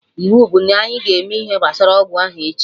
Iwu bụ na ịga eme ihe gbasara ọgwụ ahụ echi